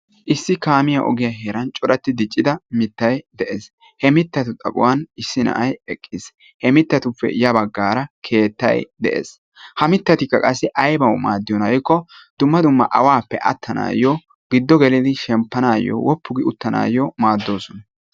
issi kaamiya ogiyaa heeran corati diccidaa mittay de'ees. he mittatu heeran issi na'ay eqqiis. he mittatuppe ya baggara keettay de'ees. ha mittatikka aybbaw maadiyoona giiko dumma dumma awappe attanayo giddo gelii shemppanayo, woppu gi uttanay maaddoosona,